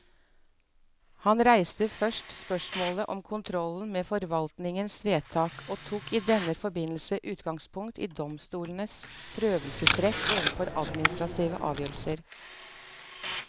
Han reiste først spørsmålet om kontrollen med forvaltningens vedtak, og tok i denne forbindelse utgangspunkt i domstolenes prøvelsesrett overfor administrative avgjørelser.